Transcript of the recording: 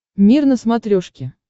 мир на смотрешке